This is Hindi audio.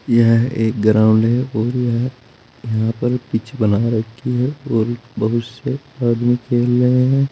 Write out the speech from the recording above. यह एक ग्राउंड है और यह यहां पर पिच बना रखी है और बहुत से आदमी खेल रहे है।